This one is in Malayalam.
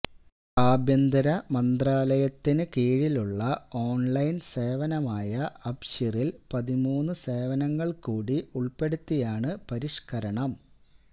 ആഭ്യന്തര മന്ത്രാലയത്തിന് കീഴിലുള്ള ഓണ്ലൈന് സേവനമായ അബ്ശീറില് പതിമൂന്ന് സേവനങ്ങള് കൂടി ഉള്പ്പെടുത്തിയാണ് പരിഷ്കരണം